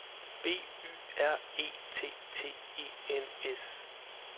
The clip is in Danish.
B Y R E T T E N S